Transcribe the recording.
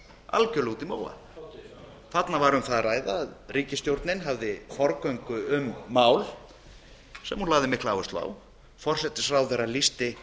algjörlega úti í móa þarna var um það að ræða að ríkisstjórnin hafði forgöngu um mál sem hún lagði mikla áherslu á forsætisráðherra lýsti